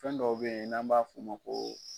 Fɛn dɔw be yen n'an b'a f'u ma ko